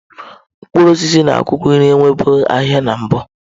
Mkpụrụ osisi na akwụkwọ nri enwebughị ahịa na mbụ.